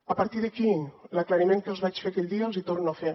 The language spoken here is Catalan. a partir d’aquí l’aclariment que els vaig fer aquell dia els hi torno a fer